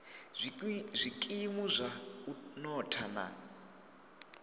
zwikimu zwa u notha na